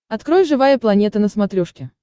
открой живая планета на смотрешке